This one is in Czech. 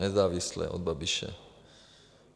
Nezávisle od Babiše.